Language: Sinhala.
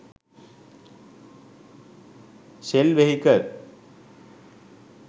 sell vehicle